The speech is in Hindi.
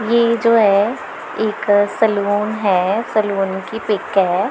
ये जो है एक सैलून है सैलून की पिक है।